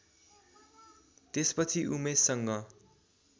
त्यसपछि उमेशसँग